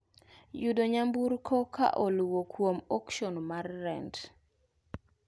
Yudo nyamburko ka oluwo kuom okshon mar rent.